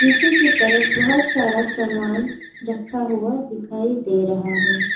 नीचे की तरफ बहोत सारा रखा हुआ दिखाई दे रहा है।